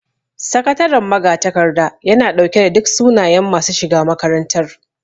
Sakataren magatakarda yana ɗauke da duk sunayen masu shiga makarantar